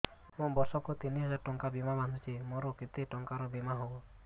ମୁ ବର୍ଷ କୁ ତିନି ହଜାର ଟଙ୍କା ବୀମା ବାନ୍ଧୁଛି ମୋର କେତେ ଟଙ୍କାର ବୀମା ହବ